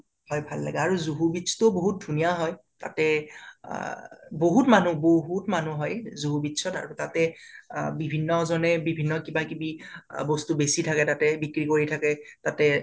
হয় ভাল লাগে আৰু জুহু beach তো বাহুত ধুনীয়া হয় তাতে আ আ বাহুত মানুহ বাহুত মানুহ হয় জুহু beach ত আৰু তাতে আ আ বিভিন্ন জনে বিভিন্ন ধৰণে কিবা কিবি আ বস্তু বেচি থাকে তাতে বিক্ৰি কৰি থাকে তাতে